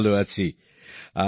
আমি খুব ভালো আছি